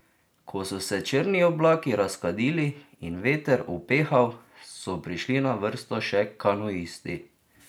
Ko so se črni oblaki razkadili in veter upehal, so prišli na vrsto še kanuisti.